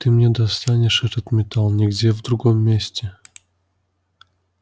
ты не достанешь этот металл нигде в другом месте